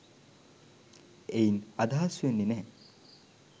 එයින් අදහස් වෙන්නේ නැහැ